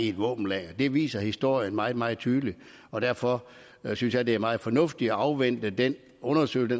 et våbenlager det viser historien meget meget tydeligt og derfor synes jeg det er meget fornuftigt at afvente den undersøgelse